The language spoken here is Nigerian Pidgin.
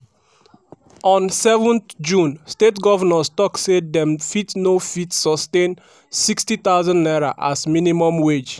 on 7 june state govnors tok say dem fit no fit sustain n60000 as minimum wage.